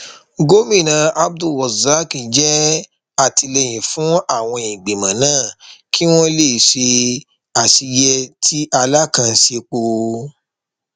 gomina abdulrozak jẹẹjẹ àtìlẹyìn fún àwọn ìgbìmọ náà kí wọn lè ṣe àṣeyẹ tí alákàn ń sèpò